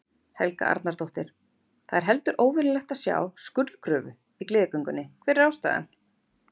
Helga Arnardóttir: Það er heldur óvenjulegt að sjá skurðgröfu í Gleðigöngunni, hver er ástæðan?